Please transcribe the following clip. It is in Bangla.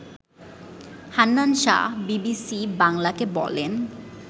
হান্নান শাহ বিবিসি বাংলাকে বলেন